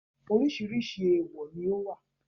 oríṣiríṣi ááwọ̀ ni ó wà.